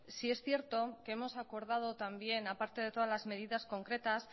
sí es cierto que hemos acordado también a parte de todas las medidas concretas